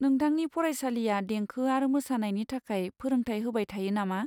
नोंथांनि फरायसालिआ देंखो आरो मोसानायनि थाखाय फोरोंथाय होबाय थायो नामा?